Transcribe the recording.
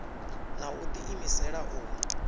na u ḓi imisela u